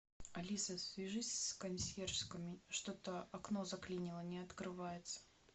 алиса свяжись с консьержками что то окно заклинило не открывается